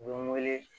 U bɛ n wele